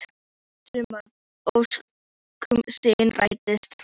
Viss um að ósk sín rætist.